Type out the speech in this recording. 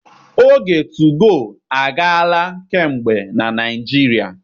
Oge tugoo agaala kamgbe na Naịjirịa.